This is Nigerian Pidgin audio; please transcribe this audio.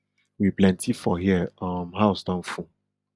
we plenty for here um house don full